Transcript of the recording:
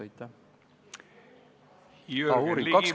Aitäh!